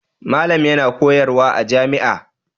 Malam yana koyarwa a jami'a.